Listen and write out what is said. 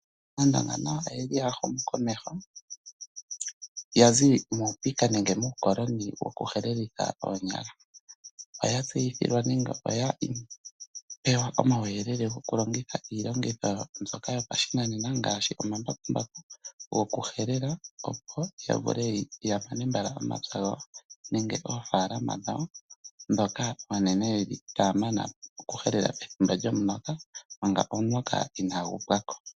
Aandonga nayo oya huma komeho ya zi muupika nenge muukoloni wokulongitha oonyala. Oya pewa omauyelele gokulongitha iilongitho mbyoka yopashinanena, ngaashi omambakumbaku gokuhelela, opo ya vule ya mane mbala omapya gawo nenge oofaalama dhawo ndhoka oonene ndhoka taya mana okuhelela pethimbo lyomuloka manga omuloka inaagu pwa ko.